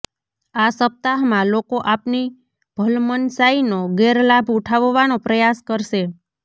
આ સપ્તાહમાં લોકો આપની ભલમનસાઈનો ગેરલાભ ઉઠાવવાનો પ્રયાસ કરશે